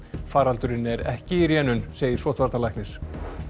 faraldurinn er ekki í rénun segir sóttvarnalæknir